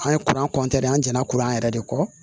An ye kuran an jɛnna kuran yɛrɛ de kɔ